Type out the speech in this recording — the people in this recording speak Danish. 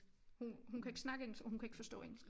Hun hun kan ikke snakke engelsk og hun kan ikke forstå engelsk